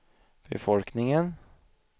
befolkningen